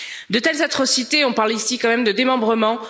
De telles atrocités on parle dans ce cas, quand même, de démembrement!